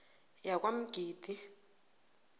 yakwamgidi